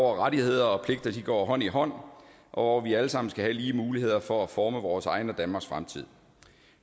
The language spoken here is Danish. rettigheder og pligter går hånd i hånd og og hvor vi alle sammen skal have lige muligheder for at forme vores egen og danmarks fremtid